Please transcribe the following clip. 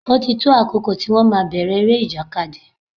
Ó ti tó àkókò tí wón máa bèrè eré ìjàkadì.